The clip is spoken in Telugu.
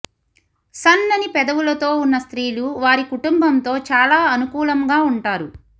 సన్నని పెదవులతో ఉన్న స్త్రీలు వారి కుటుంబంతో చాలా అనుకూలంగా ఉంటారు